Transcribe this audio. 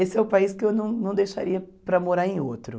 Esse é o país que eu não não deixaria para morar em outro.